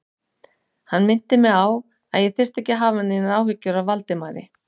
Hann minnti mig á, að ég þyrfti ekki að hafa neinar áhyggjur af Valdimari